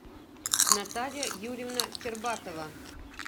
наталья юрьевна кирбатова